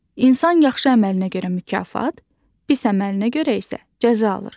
İnsan yaxşı əməlinə görə mükafat, pis əməlinə görə isə cəza alır.